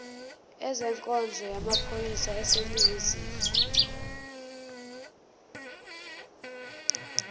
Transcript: ezenkonzo yamaphoyisa aseningizimu